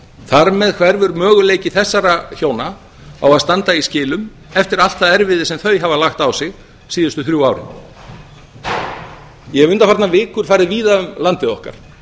þar með hverfur möguleiki þessara hjóna á að standa í skilum eftir allt það erfiði sem þau hafa lagt á sig síðustu þrjú árin ég hef undanfarnar vikur farið víða um landið okkar